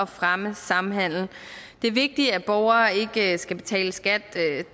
fremme samhandel det er vigtigt at borgere ikke skal betale skat